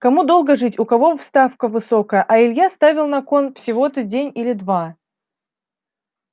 кому долго жить у кого ставка высокая а илья ставил на кон всего-то день или два